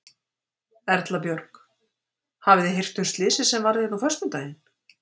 Erla Björg: Hafið þið heyrt um slysið sem varð hérna á föstudaginn?